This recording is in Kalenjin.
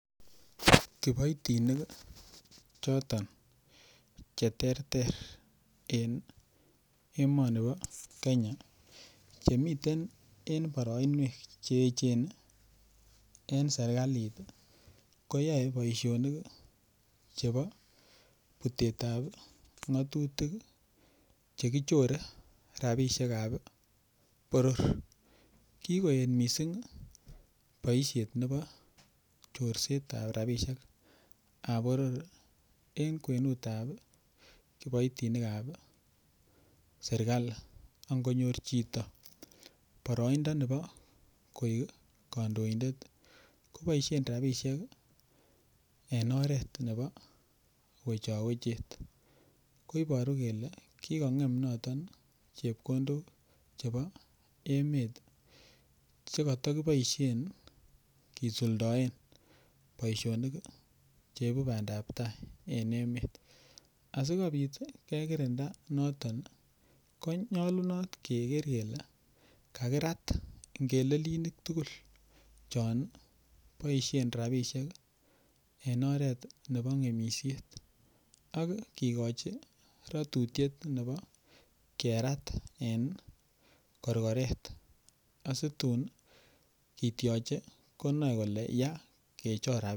Kiboitinik choton cheterter en emoni bo kenya chemiten en boroinwek che echen en serikalit ii koyoe boisionik chebo butetab ng'atutik chekichore rapisiekab boror kikoet missing boisiet nebo chorsetab rapisiekab boror en kwenutab kiboitinikab serikali angonyor chito boroindo nebo koik kandoindet koboisien rapisiek en oret nebo wechowechet koiboru kole kikong'em noton chepkondok chebo emet chekotokiboisien kisuldoen boisionik cheibu bandab tai en emet asikobit kekirinda noton konyolunot keker kele kakirat ngelelinik tugul chon boisien rapisiek ii en oret nebo ng'emisiet ak kikochi rotutiet nebo kerat en korkoret asitun kityoche konoe kole yaa ngechor rapinik.